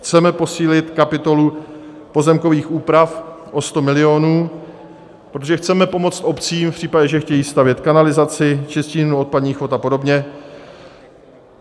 Chceme posílit kapitolu pozemkových úprav o 100 milionů, protože chceme pomoct obcím v případě, že chtějí stavět kanalizaci, čistírnu odpadních vod a podobně.